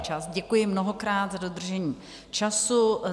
Děkuji mnohokrát za dodržení času.